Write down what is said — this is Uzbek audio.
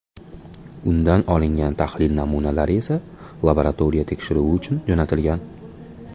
Undan olingan tahlil namunalari esa laboratoriya tekshiruvi uchun jo‘natilgan.